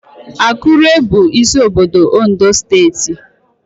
Akure bụ isi obodo Ondo steeti